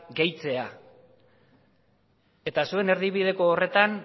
gehitzea eta zuen erdibideko horretan